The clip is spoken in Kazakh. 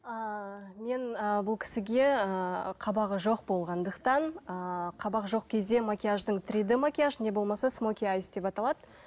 ыыы мен ы бұл кісіге ыыы қабағы жоқ болғандықтан ыыы қабағы жоқ кезде макияждың три д макияж не болмаса смоки айс деп аталады